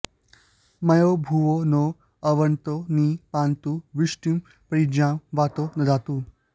मयोभुवो नो अर्वन्तो नि पान्तु वृष्टिं परिज्मा वातो ददातु